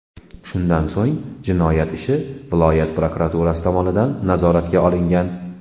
Shundan so‘ng jinoyat ishi viloyat prokuraturasi tomonidan nazoratga olingan.